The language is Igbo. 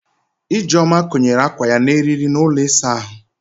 Ijeoma konyere akwa ya n'eriri n'ụlọ ịsa ahụ